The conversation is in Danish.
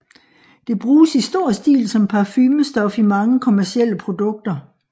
Det bruges i stor stil som parfumestof i mange kommercielle produkter